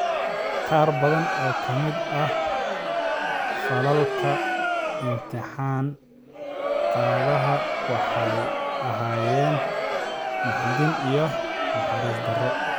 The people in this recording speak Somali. Qaar badan oo ka mid ah falalka imtixaan qaadaha waxay ahaayeen naxdin iyo naxariis darro.